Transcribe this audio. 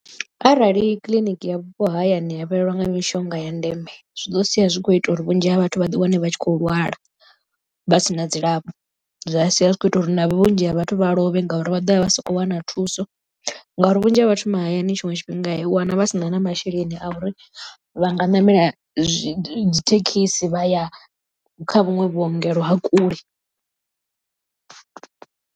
Arali kiḽiniki ya vhupo hayani ya fhelelwa nga mishonga ya ndeme zwi ḓo sia zwi kho ita uri vhunzhi ha vhathu vha ḓi wane vha tshi khou lwala vha sina dzilafho. Zwa sia zwi kho ita uri na vhunzhi ha vhathu vha lovhe ngauri vha ḓo vha vha sa khou wana thuso ngauri vhunzhi ha vhathu mahayani tshiṅwe tshifhinga u wana vha sina na masheleni a uri vha nga ṋamela dzi thekhisi vha ya kha vhuṅwe vhuongelo ha kule.